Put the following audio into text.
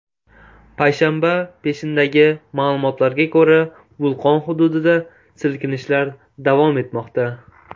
Payshanba peshindagi ma’lumotlarga ko‘ra, vulqon hududida silkinishlar davom etmoqda.